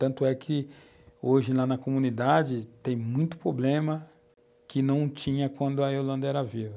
Tanto é que hoje lá na comunidade tem muito problema que não tinha quando a Irlanda era viva.